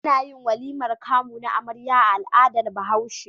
Anayin walimar kamu na amarya a al'adar bahaushe